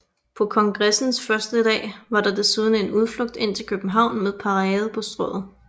På kongressens første dag var der desuden en udflugt ind til København med parade på Strøget